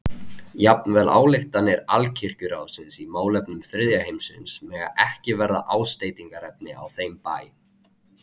Jafnvel ályktanir Alkirkjuráðsins í málefnum þriðja heimsins mega ekki verða ásteytingarefni á þeim bæ.